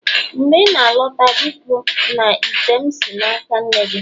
mgbe ị na-alọta biko na ite m si n'aka nne gị